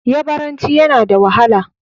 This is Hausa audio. Yabaranci yana da wahala.